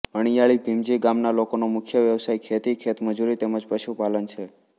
અણીયાળી ભીમજી ગામના લોકોનો મુખ્ય વ્યવસાય ખેતી ખેતમજૂરી તેમ જ પશુપાલન છે